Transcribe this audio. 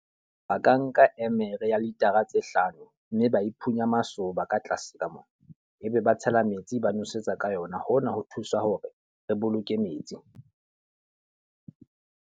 Ba ka nka eme re ya litara tse hlano, mme ba e phunya masoba ka tlase ka mona. E be ba tshela metsi ba nosetsa ka yona. Hona ho thusa hore re boloke metsi.